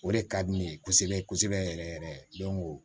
O de ka di ne ye kosɛbɛ kosɛbɛ yɛrɛ yɛrɛ